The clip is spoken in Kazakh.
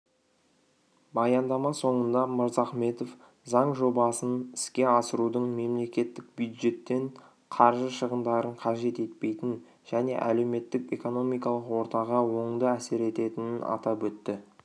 баяндама соңында мырзахметов заң жобасын іске асырудың мемлекеттік бюджеттен қаржы шығындарын қажет етпейтінін және әлеуметтік-экономикалық ортаға оңды әсер етінін атап өтті